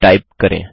type करें